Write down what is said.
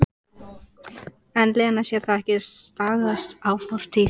En Lena sér það ekki, stagast á fortíð.